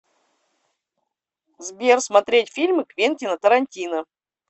сбер смотреть фильмы квентина торантино